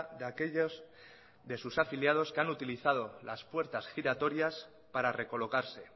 de aquellos de sus afiliados que han utilizado las puertas giratorias para recolocarse